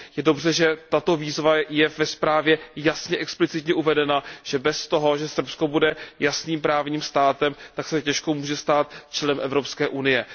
Je dobře, že tato výzva je ve zprávě jasně explicitně uvedena, že bez toho, že Srbsko bude jasným právním státem, se těžko může stát členem Evropské unie.